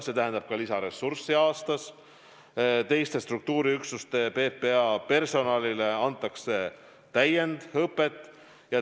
See tähendab ka lisaressurssi, teiste PPA struktuuriüksuste personalile antakse täiendõpet.